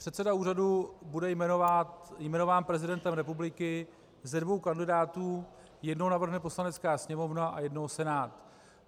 Předseda úřadu bude jmenován prezidentem republiky ze dvou kandidátů - jednoho navrhne Poslanecká sněmovna a jednoho Senát.